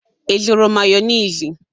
Ị zụrụ mayonezi?